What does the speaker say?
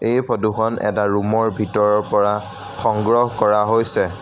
এই ফটোখন এটা ৰুমৰ ভিতৰৰ পৰা সংগ্ৰহ কৰা হৈছে।